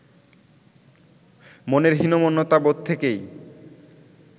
মনের হীনম্মন্যতাবোধ থেকেই